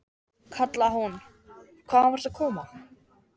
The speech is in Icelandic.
kallaði hún, hvaðan varstu að koma?